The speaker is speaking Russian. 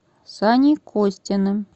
саней костиным